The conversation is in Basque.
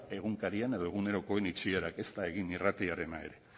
egunkarien edo egunerokoen itxierak ezta egin irratiarena ere